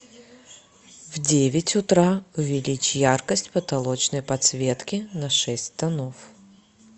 в девять утра увеличь яркость потолочной подсветки на шесть тонов